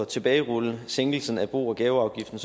tilbagerulle sænkelsen af bo og gaveafgiften